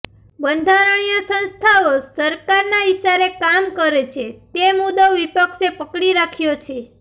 બંધારણીય સંસ્થાઓ સરકારના ઇશારે કામ કરે છે તે મુદ્દો વિપક્ષે પકડી રાખ્યો છે